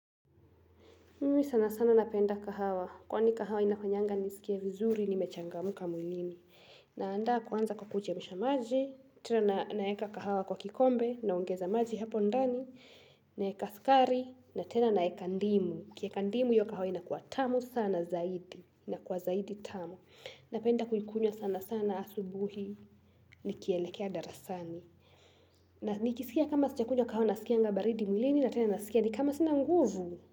Mimi sana sana napenda kahawa. Kwani kahawa inafanyanga nisikie vizuri, nimechangamka mwilini. Naandaa kwanza kwa kuchemsha maji, tena naeka kahawa kwa kikombe, naongeza maji hapo ndani, naweka sukari, na tena naweka ndimu. Ukieka ndimu hio kahawa inakua tamu sana zaidi. Inakua zaidi tamu. Napenda kuikunywa sana sana asubuhi, nikielekea darasani. Na nikisikia kama siiakunywa kahawa nasikianga baridi mwilini, na tena nasikia ni kama sinanguvu.